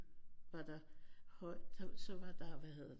Var der så var der hvad hedder det